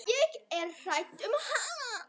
Ég er hrædd um hana.